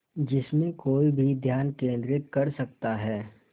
जिसमें कोई भी ध्यान केंद्रित कर सकता है